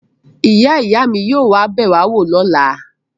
Ìyá-ìyá mi yóò wá bẹ̀ wá wò lọ́la.